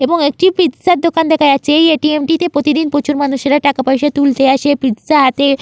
এবং একটি পিজ্জা দোকান দেখা যাচ্ছে। এই এ .টি .এম. -টিতে প্রতিদিন প্রচুর মানুষের টাকা পইসা তুলতে আসে পিজ্জা হাট -এ --